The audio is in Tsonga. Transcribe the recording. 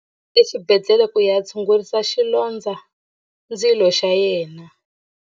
U yile exibedhlele ku ya tshungurisa xilondzandzilo xa yena.